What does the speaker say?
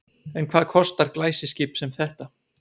En hvað kostar glæsiskip sem þetta?